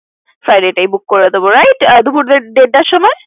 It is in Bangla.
Friday তেই book করে দিব right দুপুর দেড়টার সময়?